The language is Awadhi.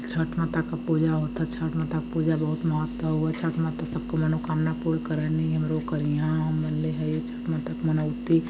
छठ माता क पूजा होता छठ माता का पूजा बहुत महत्व हउए छठ माता सब के मनोकामना पूर्ण करनी हमरो करिहंन हम मनले हइ छठ माता के मनौती।